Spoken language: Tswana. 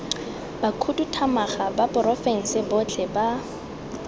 bakhuduthamaga ba porofense botlhe ba